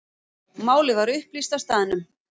Málið var upplýst á staðnum.